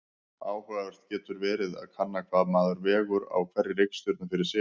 Áhugavert getur verið að kanna hvað maður vegur á hverri reikistjörnu fyrir sig.